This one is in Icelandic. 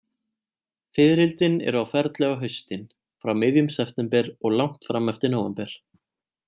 Fiðrildin eru á ferli á haustin, frá miðjum september og langt fram eftir nóvember.